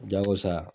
Jago sa